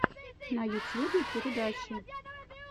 на ютьюбе передачи